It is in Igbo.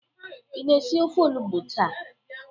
Ị na-esi ofe olugbụ taa?